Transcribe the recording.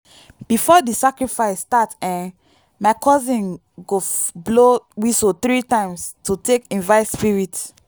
before di sacrifice start ehhn my cousin go blow whistle 3 times to take invite spirits.